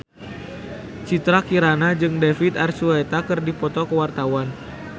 Citra Kirana jeung David Archuletta keur dipoto ku wartawan